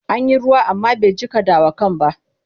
An yi ruwa amma bai jiƙa dawakan ba.